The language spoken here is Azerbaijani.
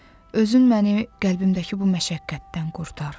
Özün məni qəlbimdəki bu məşəqqətdən qurtar.